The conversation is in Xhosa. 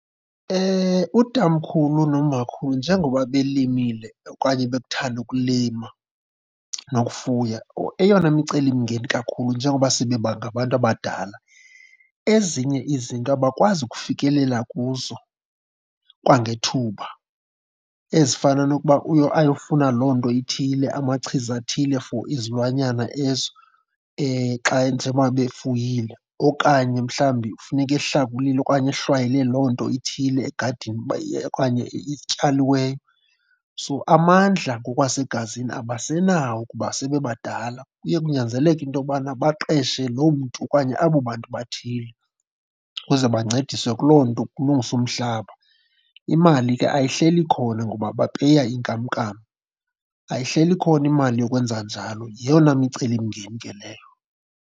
Utamkhulu nomakhulu njengoba belimile okanye bekuthanda ukulima nokufuya, eyona micelimngeni kakhulu njengoba sebebangabantu abadala, ezinye izinto abakwazi ukufikelela kuzo kwangethuba, ezifana nokuba ayofuna loo nto ithile, amachiza athile for izilwanyana ezo xa njengoba beyifuyile. Okanye mhlawumbi kufuneka ehlakulile okanye ehlwayele loo nto ithile egadini uba okanye ityaliweyo. So amandla ngokwasegazini abasenawo kuba sebebadala. Kuye kunyanzeleke into yobana baqeshe loo mntu okanye abo bantu bathile ukuze bancediswe kuloo nto, kulungiswe umhlaba. Imali ke ayihleli ikhona ngoba bapeya inkamnkam, ayihleli khona imali yokwenza njalo. Yeyona micelimngeni ke leyo.